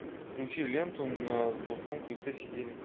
включи ленту на золотом крыльце сидели